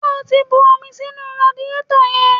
Ṣé o ti bu omi sínú radiétọ̀ yẹn?